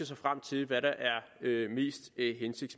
sig frem til hvad der er